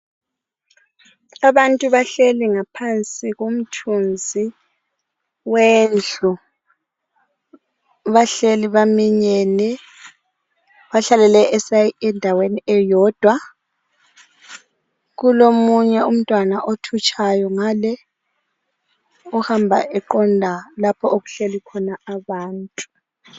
Abantu bahleli ngaphansi komthunzi wendlu. Bahleli baminyene bahlale endaweni eyodwa kulomunye umntwana othutshayo ngale ohamba eqonda okuhleli khona abantu